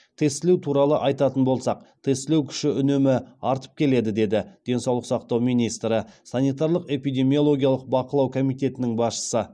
тестілеу туралы айтатын болсақ тестілеу күші үнемі артып келеді деді денсаулық сақтау министрі санитарлық эпидемиологиялық бақылау комитетінің басшысы